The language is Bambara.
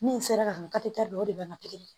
Min sera ka don o de b'an ka